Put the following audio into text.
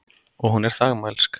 Og hún er þagmælsk.